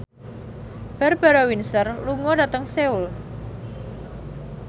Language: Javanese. Barbara Windsor lunga dhateng Seoul